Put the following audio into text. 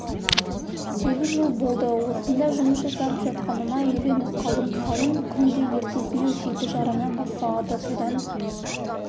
сегіз жыл болды осында жұмыс жасап жатқаныма үйреніп қалдым сауын күнде ертесіне жеті жарымнан басталады содан